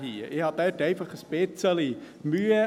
Ich habe damit einfach ein bisschen Mühe.